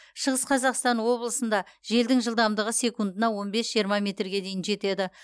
шығыс қазақстан облысында желдің жылдамдығы секундына он бес жиырма метрге дейін жетеді